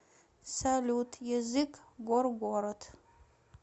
салют язык горгород